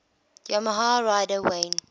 yamaha rider wayne